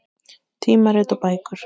Tímarit og bækur.